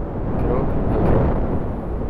Krog v krogu.